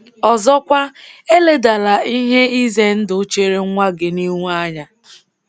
Ọzọkwa, eledala ihe ize ndụ chere nwa gị nihu anya.